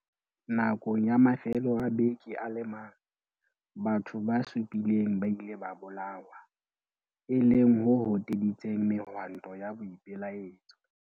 Nakong ya mafelo a beke a le mang, batho ba supileng ba ile ba bolawa, e leng ho hoteditseng mehwanto ya boipelaetso.